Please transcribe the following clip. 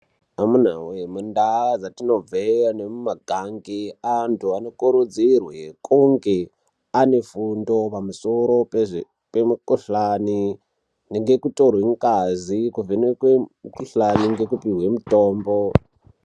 Amunawe, mundau dzatinobva nemumakanyi antu anokurudzirwe kunge ane fundo pamusoro pemukhuhlane, ngekutorwe ngazi nekuvhenekwe mukhuhlane nekupihwe mitombo.